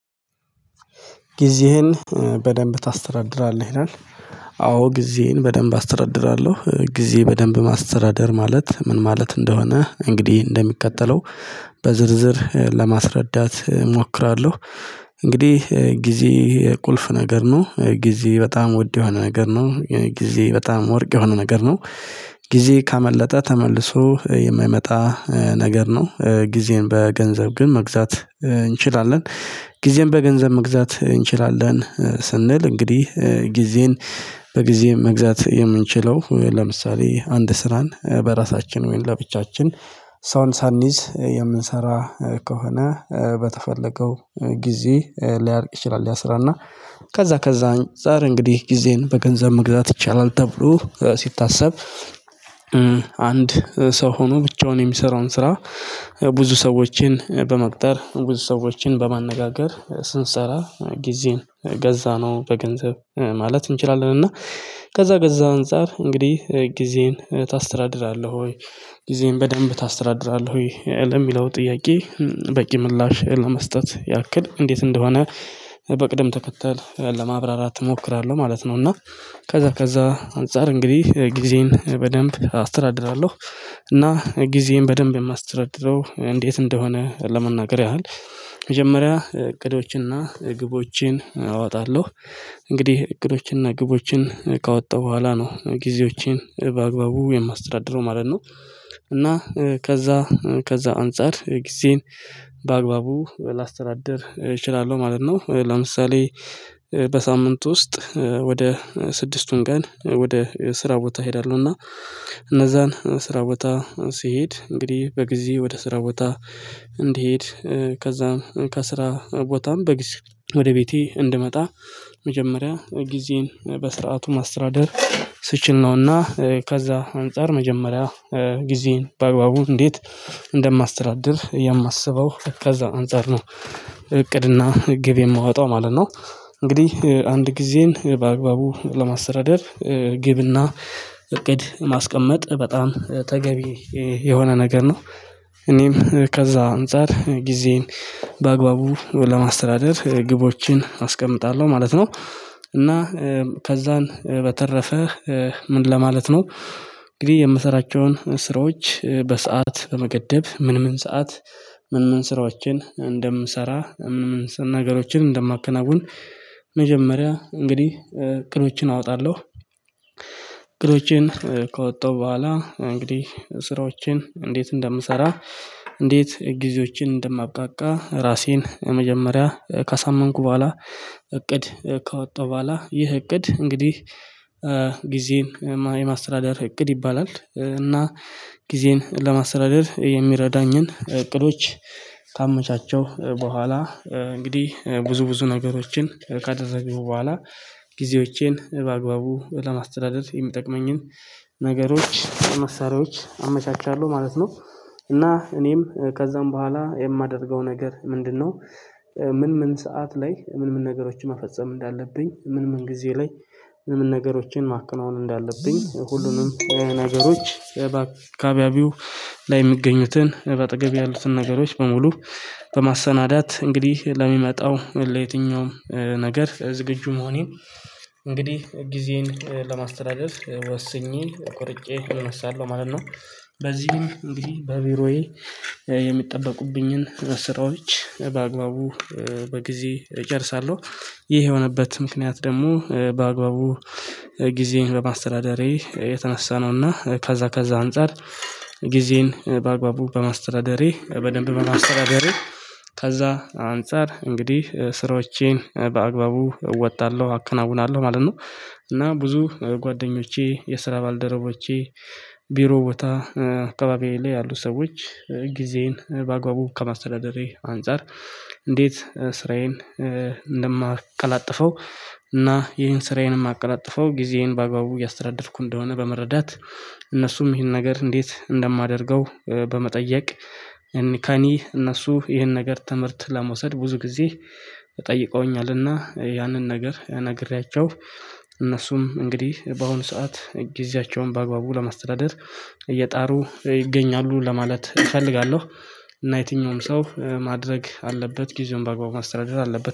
ጊዜህን በደንብ ታስተዳድራለህ ይላል? አዎ ጊዜየን በደንብ አስተዳድራለሁ ጊዜ በደንብ ማስተዳደር ማለት ምን ማለት እንደሆነ እንግዲህ እንደሚቀጠለው በዝርዝር ለማስረዳት እሞክራለሁ። እንግዲህ ጊዜ ይሄ ቁልፍ ነገር ነው ጊዜ በጣም ውድ የሆነ ነገር ነው ጊዜ በጣም ወርቅ የሆነ ነገር ነው። ጊዜ ካመለጠ ተመልሶ የማይመጣ ነገር ነው። ጊዜን በገንዘብ ግን መግዛት እንችላለን። ጊዜን በገንዘብ መግዛት እንችላለን ስንል እንግዲህ ጊዜን በጊዜም መግዛት የምንችለው ለምሳሌ አንድ ስራን በራሳችን ወይም ለብቻችን ሰውን ሳንይዝ የምንሰራ ከሆነ በተፈለገው ጊዜ ሊያልቅ ይችላል። ያስራና ከዛ ከዛ አንፃር እንግዲህ ጊዜን በገንዘብ መግዛት ይቻላል ተብሎ ሲታሰብ። አንድ ሰው ሆኖ ብቻውን የሚሰራውን ስራ ብዙ ሰዎችን በመቅጠር ብዙ ሰዎችን በማነጋገር ስንሰራ ጊዜን ገዛነው በገንዘብ ማለት እንችላለን። እና ከዛ ገዛ አንፃር እንግዲህ ጊዜን ታስተዳድራለህ ወይ? ጊዜን በደንብ ታስተዳድራለህ ወይ ለሚለው ጥያቄ? በቂ ምላሽ ለመስጠት ያክል እንዴት እንደሆነ በቅደም ተከተል ለማብራራት እሞክራለሁ ማለት ነው። እና ከዛ ከዛ አንፃር እንግዲህ ጊዜን በደንብ አስተዳድራለሁ። እና ጊዜን በደንብ የማስተዳድረው እንዴት እንደሆነ ለመናገር ያህል መጀመሪያ እቅዶችንና ግቦችን አወጣለሁ። እንግዲህ እቅዶችንና ግቦችን ካወጣሁ በኋላ ነው ጊዜዎቼን በአግባቡ የማስተዳደረው ማለት ነው። እና ከዛ ከዛ አንፃር ጊዜን በአግባቡ ላስተዳድር እችላለሁ ማለት ነው። ለምሳሌ በሳምንት ውስጥ ወደ ስድስቱን ቀን ወደ ስራ ቦታ እሄዳለሁ እና እነዛን ስራ ቦታ ሲሄድ እንግዲህ በጊዜ ወደ ስራ ቦታ። እንድሄድ ከዛም ከስራ ቦታም በጊዜ ወደ ቤቴ እንድመጣ። መጀመሪያ ጊዜን በስርዓቱ ማስተዳደር ስችል ነውና ከዛ አንፃር መጀመሪያ ጊዜን በአግባቡ እንዴት እንደማስተዳደር የማስበው ከዛ አንፃር ነው እቅድና ግብ የማወጣው ማለት ነው። እንግዲህ አንድ ጊዜን በአግባቡ ለማስተዳደር ግብና እቅድ ማስቀመጥ በጣም ተገቢ የሆነ ነገር ነው። እኔም ከዛ አንፃር ጊዜን በአግባቡ ለማስተዳደር ግቦችን አስቀምጣለሁ ማለት ነው። እና ከዛን በተረፈ ምን ለማለት ነው። እንግዲህ የምሰራቸውን ስራዎች በሰአት በመገደብ ምን ምን ሰዓት ምን ምን ስራዎችን እንደምሰራ። ነገሮችን እንደማከናውን መጀመሪያ እንግዲህ እቅዶችን አወጣለሁ። እቅዶችን ከወጣሁ በኋላ እንግዲህ ስራዎችን እንዴት እንደምሰራ እንዴት ጊዜዎችን እንደማብቃቃ ራሴን መጀመሪያ ካሳመንኩ በኋላ እቅድ ካወጣሁ በኋላ ይህ እቅድ እንግዲህ ጊዜን የማስተዳደር እቅድ ይባላል። እና ጊዜን ለማስተዳደር የሚረዳኝን እቅዶች ካመቻቸው በኋላ እንግዲህ ብዙ ብዙ ነገሮችን ካደረጉ በኋላ ጊዜዎቼን በአግባቡ ለማስተዳደር የምጠቅመኝን ነገሮች መሳሪያዎች አመቻቻለሁ ማለት ነው። እና እኔም ከዛም በኋላ የማደርገው ነገር ምንድነው? ምን ምን ሰዓት ላይ ምን ምን ነገሮችን መፈጸም እንዳለብኝ ምን ምን ጊዜ ላይ ምን ምን ነገሮችን ማከናወን እንዳለብኝ ሁሉንም ነገሮች። ከአካባቢው ላይ የሚገኙትን በአጠገብ ያሉትን ነገሮች በሙሉ በማሰናዳት እንግዲህ ለሚመጣው ለየትኛውም ነገር ዝግጁ መሆኔን እንግዲህ ጊዜን ለማስተዳደር ወስኜ ቆርጬ እነሳለሁ ማለት ነው። በዚህም እንግዲህ በቢሮዬ የሚጠበቁብኝን ስራዎች በአግባቡ በጊዜ እጨርሳለሁ። ይህ የሆነበት ምክንያት ደግሞ በአግባቡ ጊዜን በማስተዳደሬ የተነሳ ነውና ከዛ ከዛ አንፃር። ጊዜን በአግባቡ በማስተዳደሬ በደንብ በማስተዳደሬ ከዛ አንፃር እንግዲህ ስራዎቼን በአግባቡ እወጣለሁ አከናውናለሁ ማለት ነው። እና ብዙ ጓደኞቼ የስራ ባልደረቦቼ ቢሮ ቦታ አካባቢዬ ላይ ያሉ ሰዎች ጊዜን በአግባቡ ከማስተዳደሬ አንፃር እንዴት ስራዬን እንደማቀላጥፈው። እና ይሄን ስራዬንም አቀላጥፈው ጊዜዬን በአግባቡ እያስተዳደርኩ እንደሆነ በመረዳት። እነሱም ይህን ነገር እንዴት እንደማደርገው በመጠየቅ። ከኔ እነሱ ይህን ነገር ትምህርት ለመውሰድ ብዙ ጊዜ ጠይቀውኛልና ያንን ነገር ያናግሬያቸው። እነሱም እንግዲህ በአሁኑ ሰዓት ጊዜያቸውን በአግባቡ ለማስተዳደር እየጣሩ ይገኛሉ ለማለት እፈልጋለሁ። እና የትኛውም ሰው ማድረግ አለበት ጊዜውን በአግባቡ ማስተዳደር አለበት